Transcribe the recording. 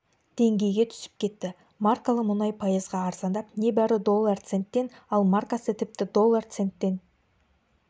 деңгейге түсіп кетті маркалы мұнай пайызға арзандап небәрі доллар центтен ал маркасы тіпті доллар центтен